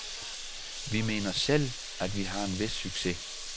Vi mener selv, at vi har en vis succes.